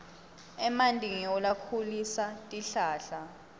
emanti ngiwo lakhulisa tihlahla